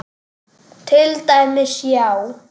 Til dæmis, já.